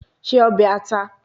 Se obe ata